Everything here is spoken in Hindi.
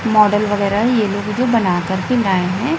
मॉडल वगैरह ये लोग जो बना कर के लाए हैं।